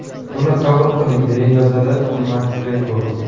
Buni qabul qiling”, deya yozadi Makgregor.